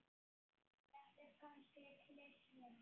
Þetta er kannski klisja.